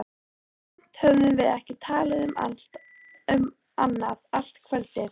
Samt höfðum við ekki talað um annað allt kvöldið.